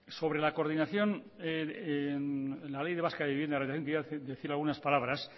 sobre la coordinación en la ley vasca de vivienda decir algunas palabras